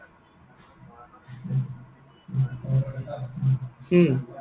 হম